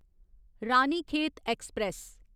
Ranikhet express